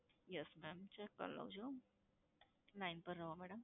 yes mam check કરી લઉં છું, line પર રહો madam.